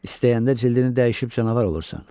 İstəyəndə cildini dəyişib canavar olursan.